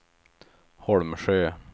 Holmsjö